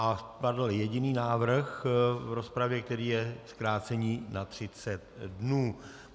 A padl jediný návrh v rozpravě, který je zkrácení na 30 dnů.